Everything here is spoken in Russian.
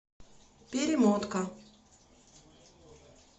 перемотка